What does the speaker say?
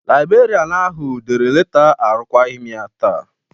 Laibrerịanu ahụ dere leta arụkwaghịm ya taa.